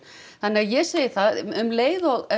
þannig að ég segi að um leið og